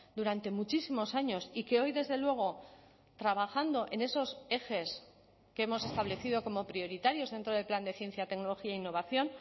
durante muchísimos años y que hoy desde luego trabajando en esos ejes que hemos establecido como prioritarios dentro del plan de ciencia tecnología e innovación